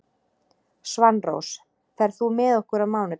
Svanrós, ferð þú með okkur á mánudaginn?